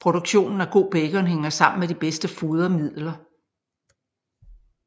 Produktionen af god bacon hænger sammen med de bedste fodermidler